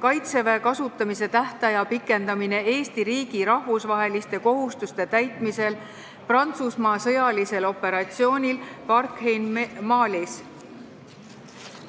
"Kaitseväe kasutamise tähtaja pikendamine Eesti riigi rahvusvaheliste kohustuste täitmisel Prantsusmaa sõjalisel operatsioonil Barkhane Malis" eelnõu.